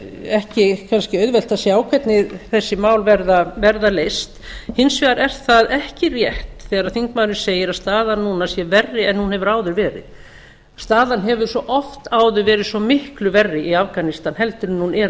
ekki kannski auðvelt að sjá hvernig þessi mál verða leyst hins vegar er það ekki rétt þegar þingmaðurinn segir að staðan núna sé verri en hún hefur áður verið staðan hefur svo oft áður verið svo miklu verri í afganistan en hún er